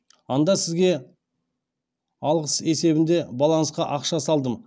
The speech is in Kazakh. анда сізге алғыс есебінде балансқа ақша салдым